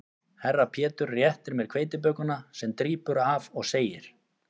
Herra Pétur réttir mér hveitibökuna sem drýpur af og segir